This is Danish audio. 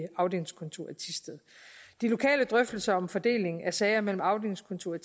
afdelingskontoret i thisted de lokale drøftelser om fordelingen af sager mellem afdelingskontoret